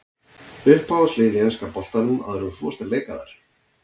Uppáhaldslið í enska boltanum áður en að þú fórst að leika þar?